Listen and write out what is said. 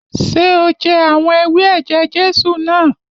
Ṣé o jẹ àwọn ewé ẹ̀jẹ̀ Jésù náà?